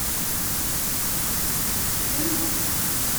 зенит